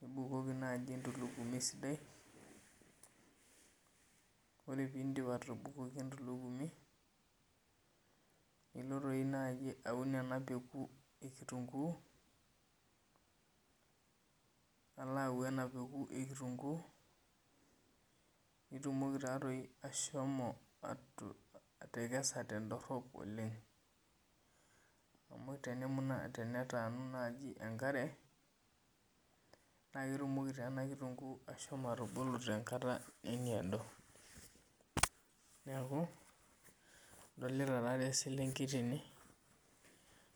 nibukoki entulugimi sidai ore pidip atubukoki enatulugumi sidai nilo aun ena Peku ekitunguu nitumokibashomo atekesa tendorop oleng amu tenetaanu enkare na ketumoki enakitunguu ashomo atubulu tenkata nemeedo, neaku adolta nai enaselenkei